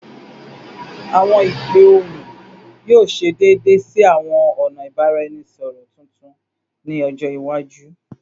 Awọn ipe ohun yoo ṣe deede si awọn ọna ibaraẹnisọrọ tuntun ni ọjọ iwaju